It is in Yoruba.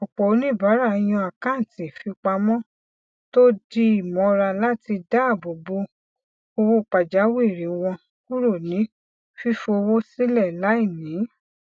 ọpọ oníbàárà yàn àkántì fipamọ tó dì mọra láti dáàbò bo owó pajawìrì wọn kúrò ní fífòwó sílẹ láìní